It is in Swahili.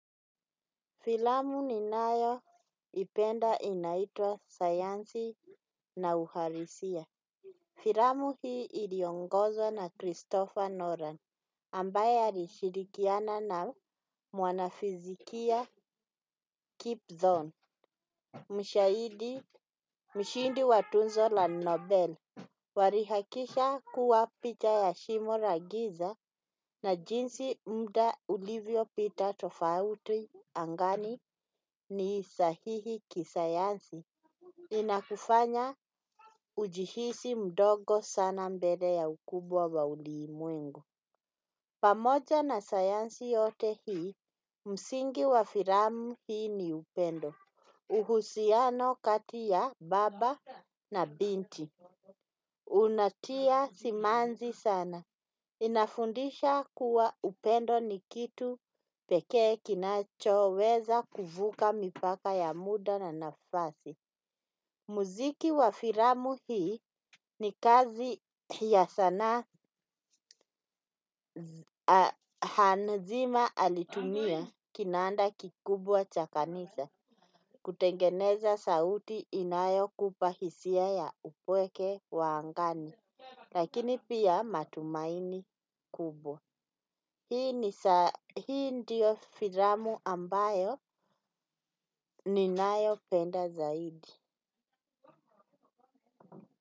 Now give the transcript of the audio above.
Filamu ninayoipenda inaitwa sayansi na uhalisia. Filamu hii iliongozwa na Christopher Nolan. Ambaye alishirikiana na mwanafizikia Kipthon. Mshahidi, mshindi wa tuzo la Nobel. Walihakisha kuwa picha ya shimo la giza na jinsi muda ulivyo pita tofauti angani ni sahihi kisayansi. Inakufanya ujihisi mdogo sana mbele ya ukubwa wa ulimwengu. Pamoja na sayansi yote hii, msingi wa filamu hii ni upendo. Uhusiano kati ya baba na binti. Unatia simanzi sana. Inafundisha kuwa upendo ni kitu peke kinacho weza kuvuka mipaka ya muda na nafasi. Muziki wa filamu hii ni kazi ya sanaa hanzima alitumia kinanda kikubwa cha kanisa. Kutengeneza sauti inayo kupa hisia ya upweke wa angani. Lakini pia matumaini kubwa hii ni hii ndiyo filamu ambayo ninayopenda zaidi.